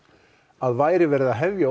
að væri verið að hefja